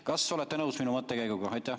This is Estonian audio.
Kas olete nõus minu mõttekäiguga?